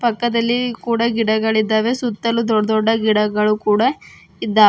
ಪಕ್ಕದಲ್ಲಿ ಕೂಡ ಗಿಡಗಳಿದ್ದಾವೆ ಸುತ್ತಲೂ ದೊಡ್ದೊಡ್ಡ ಗಿಡಗಳು ಕೂಡ ಇದ್ದವ್--